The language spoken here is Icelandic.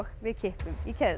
við kippum í keðjurnar